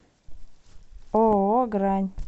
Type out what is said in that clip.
ооо грань